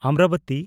Amravati